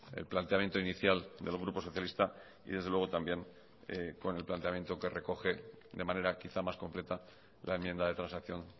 el planteamiento inicial del grupo socialista y desde luego también con el planteamiento que recoge de manera quizá más completa la enmienda de transacción